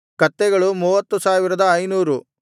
ಕತ್ತೆಗಳು 30500